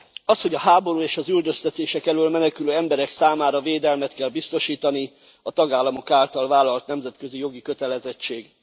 Az, hogy a háború és az üldöztetések elől menekülő emberek számára védelmet kell biztosítani, a tagállamok által vállalt nemzetközi jogi kötelezettség.